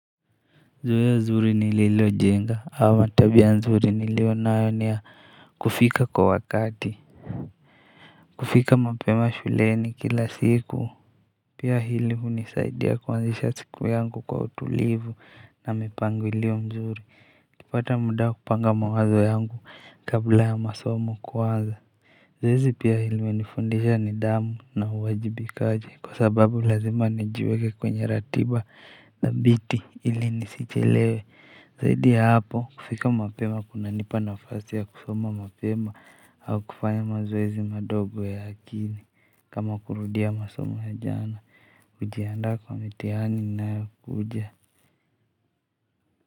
Zoea zuri nililojenga ama tabia nzuri nilionayo ni ya kufika kwa wakati. Kufika mapema shuleni kila siku. Pia hili hunisaidia kuanzisha siku yangu kwa utulivu na mipangilio mzuri kupata muda kupanga mawazo yangu kabla ya masomo kuanza. Zoezi pia hili limenifundisha nidhamu na uwajibi kaji kwa sababu lazima nijiweke kwenye ratiba na bidii ili nisichelewe. Zaidi ya hapo kufika mapema kunanipa nafasi ya kusoma mapema au kufanya mazoezi madogo ya akili kama kurudia masoma ya jana kujianda kwa mitihani inayo kuja.